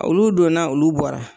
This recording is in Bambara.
Olu donna olu bɔra